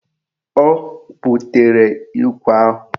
O butere ikwe ahụ.